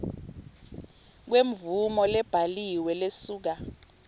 kwemvumo lebhaliwe lesuka